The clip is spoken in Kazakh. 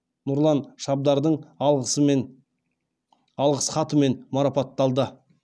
нұрлан шабдардың алғысхатымен марапатталды